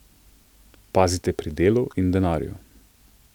Pazite pri delu in denarju.